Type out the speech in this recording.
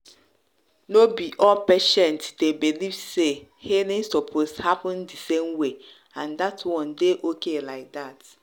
no be all patients dey believe say healing suppose happen the same way and that one dey okay like that.